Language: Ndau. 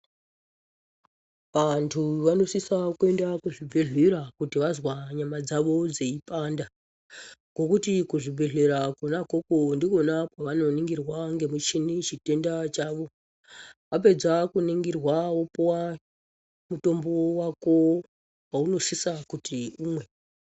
Vantu vanosisa kuenda kuzvibhedhlera kuti vazwa nyama dzavo dzeipanda ngokuti kuzvibhedhlera kona ikoko ndikona kwavanoningirwa ngemuchini chitenda chavo. Wapedza kuningirwa wopuwa mutombo wako waunosisa kuti umwe.